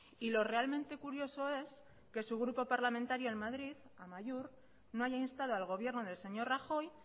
y lo realmente curioso es que su grupo parlamentario en madrid amaiur no haya instado al gobierno del señor rajoy